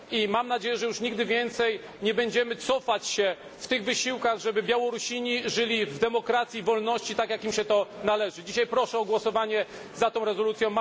Mam nadzieję, że już nigdy więcej nie będziemy cofać się w wysiłkach, aby Białorusini żyli w demokracji i wolności, tak jak im się to należy. Dzisiaj proszę o głosowanie za tą rezolucją.